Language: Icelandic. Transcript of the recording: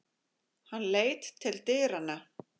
Hann leit til dyranna.